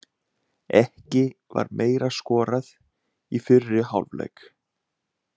Ekki var meira skorað í fyrri hálfleik.